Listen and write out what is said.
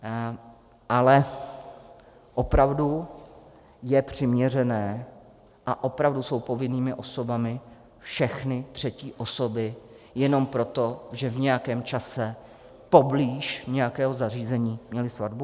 Ale opravdu je přiměřené a opravdu jsou povinnými osobami všechny třetí osoby jenom proto, že v nějakém čase poblíž nějakého zařízení měly svatbu?